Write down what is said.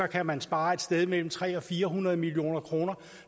kan man spare et sted mellem tre hundrede og fire hundrede million kroner